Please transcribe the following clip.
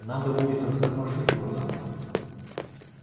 надо будет растормошить его завтра